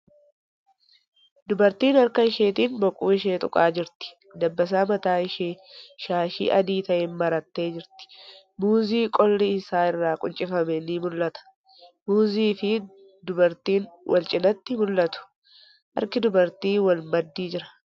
Dubartiin harka isheetin boqoo ishee tuqaa jirti. Dabbasaa mataa ishee shaashii adii ta'een marattee jirti. Muuzii qolli isaa irraa quuncifame ni mul'ata. Muuzii fii dubartiin walcinaatti mul'atu. Harki dubartii wal maddii jira.